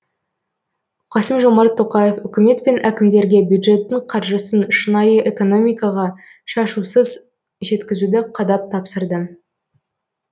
қасым жомарт тоқаев үкімет пен әкімдерге бюджеттің қаржысын шынайы экономикаға шашусыз жеткізуді қадап тапсырды